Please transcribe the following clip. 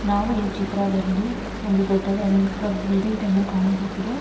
ನಾವು ಈ ಚಿತ್ರದಲ್ಲಿ ಒಂದು ದೊಡ್ಡದಾದಂತಹ ಬಿಲ್ಡಿಂಗ್ ಅನ್ನು ಕಾಣಬಹುದು.